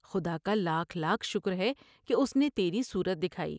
خدا کا لاکھ لاکھ شکر ہے کہ اس نے تیری صورت دکھائی ۔